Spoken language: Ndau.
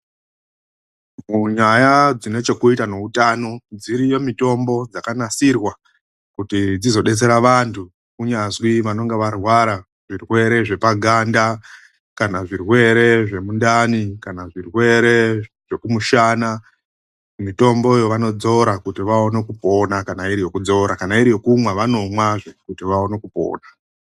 Munyaya dzine chekuita neutano, dziriyo mitombo yakanasirwa kuti dzizodetsera vandu. Kunyazwi vanenge varwara zvirwere zvepaganda kana zvirwere zvemundani kana zvirwere zvekumishana ,mitombo iyo vanodzora kuti vaone kupona, kana iri yekudzora kuti vaone kupona kana iri yekumwa vanomwazve kuti vawane kupona.